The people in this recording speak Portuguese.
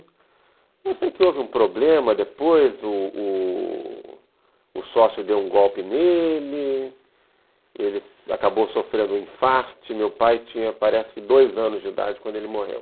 Eu sei que houve um problema depois, o o o sócio deu um golpe nele, ele acabou sofrendo um infarto, meu pai tinha parece que dois anos de idade quando ele morreu.